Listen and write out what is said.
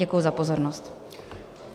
Děkuji za pozornost.